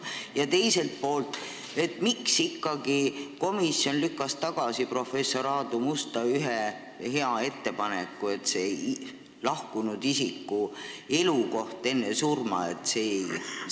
Ja teiselt poolt, miks ikkagi komisjon lükkas tagasi professor Aadu Musta hea ettepaneku lahkunud isiku elukohaandmete kohta?